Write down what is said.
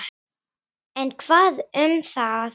En hvað um það!